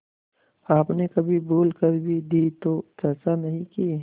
आपने कभी भूल कर भी दी तो चर्चा नहीं की